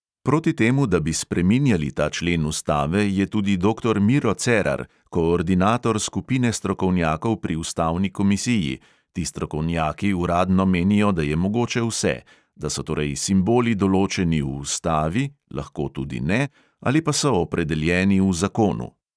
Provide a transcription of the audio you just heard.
Proti temu, da bi spreminjali ta člen ustave, je tudi doktor miro cerar, koordinator skupine strokovnjakov pri ustavni komisiji, ti strokovnjaki uradno menijo, da je mogoče vse; da so torej simboli določeni v ustavi, lahko tudi ne, ali pa so opredeljeni v zakonu.